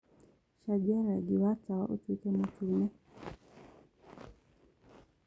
cenjĩa rangĩ wa tawa ũtũĩke mũtũne